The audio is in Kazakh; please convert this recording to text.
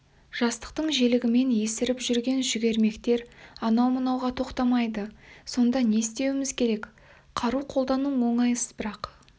жастықтың желігімен есіріп жүрген жүгермектер анау-мынауға тоқтамайды сонда не істеуіміз керек қару қолдану оңай іс бірақ